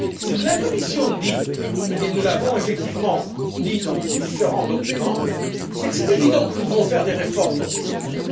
Ce que la Commission dit et nous l'avons effectivement indiqué dans différents documents c'est qu'il est évident que nous devons faire des réformes dans ce secteur.